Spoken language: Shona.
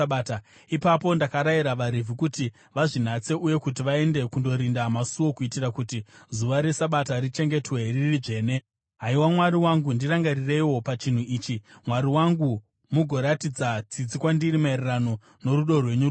Ipapo ndakarayira vaRevhi kuti vazvinatse uye kuti vaende kundorinda masuo kuitira kuti zuva reSabata richengetwe riri dzvene. Haiwa Mwari wangu, ndirangarireiwo pachinhu ichi, Mwari wangu, mugoratidza tsitsi kwandiri maererano norudo rwenyu rukuru.